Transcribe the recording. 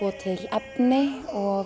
efni og